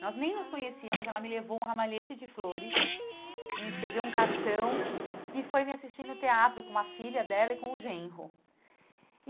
Nós nem nos conhecíamos, ela me levou um ramalhete de flores, me escreveu um cartão e foi me assistir no teatro com uma filha dela e com o Genro.